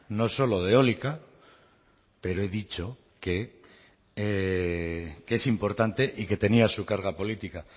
no solo de eólica pero he dicho que es importante y que tenía su carga política